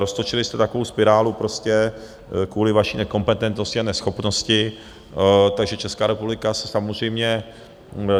Roztočili jste takovou spirálu prostě kvůli vaší nekompetentnosti a neschopnosti, takže Česká republika se samozřejmě...